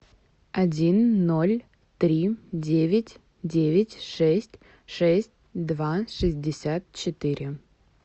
один ноль три девять девять шесть шесть два шестьдесят четыре